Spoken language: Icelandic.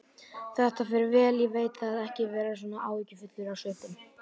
Þetta fer vel, ég veit það, ekki vera svona áhyggjufull á svipinn.